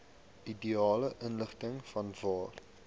ideale ligging vanwaar